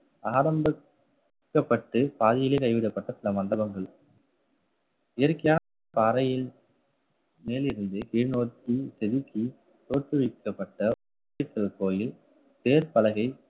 ஆரமிக்கப்பட்டு பாதியிலே கைவிடப்பட்ட சில மண்டபங்கள் இருக்கியா~ பாறையில் மேலிருந்து கீழ் நோக்கி செதுக்கி தோற்றுவிக்கப்பட்ட கோயில் தேர்ப்பலகை